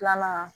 Filanan